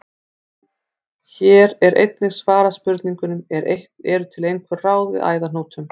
Hér er einnig svarað spurningunum: Eru til einhver ráð við æðahnútum?